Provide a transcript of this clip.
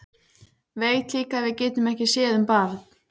Veit líka að við getum ekki séð um barn.